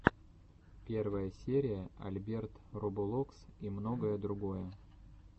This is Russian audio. первая серия альберт роболокс и многое другое